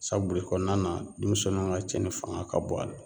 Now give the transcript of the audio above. Sabuli kɔɔna na demisɛnninw ŋa cɛnni fanga ka bon a la.